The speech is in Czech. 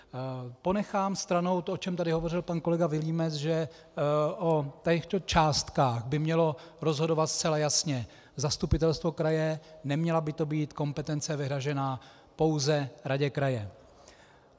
Ponechám stranou to, o čem tady hovořil pan kolega Vilímec, že o těchto částkách by mělo rozhodovat zcela jasně zastupitelstvo kraje, neměla by to být kompetence vyhrazená pouze radě kraje.